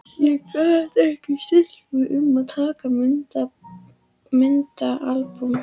Ég gat ekki stillt mig um að taka myndaalbúm.